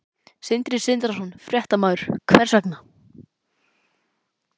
Sindri Sindrason, fréttamaður: Hvers vegna?